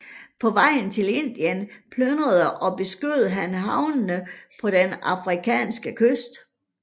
På vejen til Indien plyndrede og beskød han havnene på den afrikanske kyst